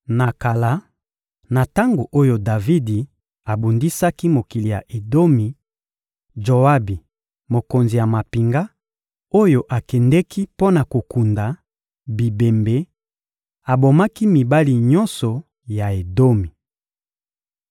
Na kala, na tango oyo Davidi abundisaki mokili ya Edomi, Joabi mokonzi ya mampinga, oyo akendeki mpo na kokunda bibembe, abomaki mibali nyonso ya Edomi.